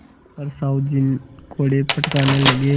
पर साहु जी कोड़े फटकारने लगे